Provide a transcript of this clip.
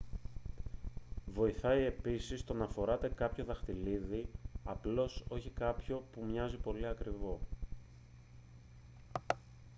βοηθάει επίσης το να φοράτε κάποιο δαχτυλίδι απλώς όχι κάποιο που μοιάζει πολύ ακριβό